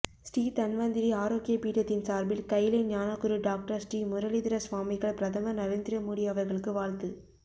ஸ்ரீ தன்வந்திரி ஆரோக்ய பீடத்தின் சார்பில் கயிலை ஞானகுரு டாக்டர் ஸ்ரீ முரளிதர ஸ்வாமிகள் பிரதமர் நரேந்திரமோடி அவர்களுக்கு வாழ்த்து